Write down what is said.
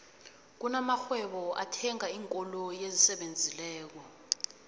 kuna marhwebo ethanga iinkoloyi esisebenzileko